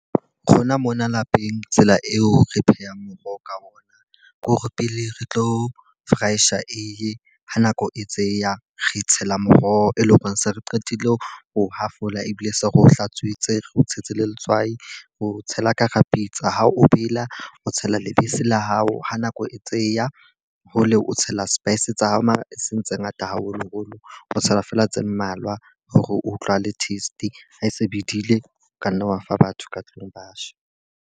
Rona mona lapeng, tsela eo re pheha moroho ka ona, ke hore pele re tlo fryer eiye. Ha nako e tseya re tshela moroho, e leng hore se re qetile ho ho hafola ebile se re o hlatswitse, re o tshetse le letswai. O tshela ka hara pitsa ha o bela o tshela lebese la hao. Ha nako e tseya hole o tshela spice tsa hao. Mara e seng tse ngata haholoholo, o tshela feela tse mmalwa hore utlwa le taste. Ha e se bidile ka nna wa fa batho ka tlung ba ja.